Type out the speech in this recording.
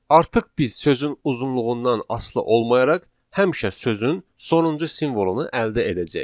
Artıq biz sözün uzunluğundan asılı olmayaraq həmişə sözün sonuncu simvolunu əldə edəcəyik.